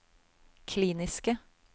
kliniske